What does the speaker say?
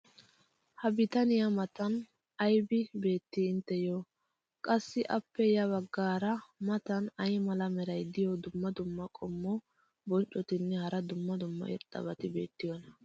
ha bitaniya matan aybi beetii intteyoo? qassi appe ya bagaara matan ay mala meray diyo dumma dumma qommo bonccotinne hara dumma dumma irxxabati beetiyoonaa?